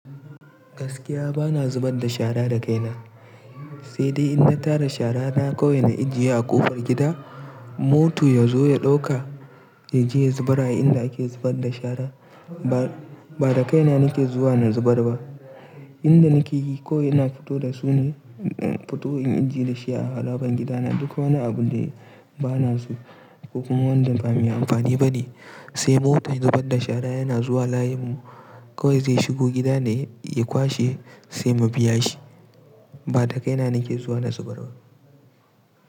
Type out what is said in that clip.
Gaskiya bana zubar da shara da kaina. Sai dai in na tara shara na, kawai ina ajiyewa a ƙofar gida. Moto ya zo ya ɗauka, ya je ya zubara a inda ake zubar da shara. Ba, ba da kaina nake zuwa na zubar ba. Inda nake yi ko ina fito da su ne, futo in ajiye da shi a harabar gidana. Duk wani abu da ba na su ko kuma wanda ba mai amfani ba ne, sai motar zubar da shara yana zuwa layinmu kawai zai shigo gida ne ya kwashe sai mu biya shi. Ba da kaina nake zuwa na zubar ba.